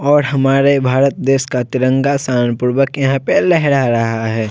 और हमारे भारत देश का तिरंगा शान पूर्वक यहां पे लेहरा रहा है।